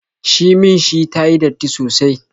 Shimin shi tayi datti sosai